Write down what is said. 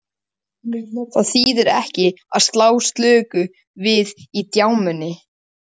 Það þýðir ekki að slá slöku við í djamminu.